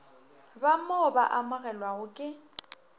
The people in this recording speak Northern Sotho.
ba mo ba amogelwago ke